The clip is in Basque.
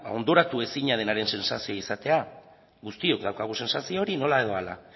ondoratuezinaren sentsazioa izatea guztiok daukagu sentsazio hori nola edo hala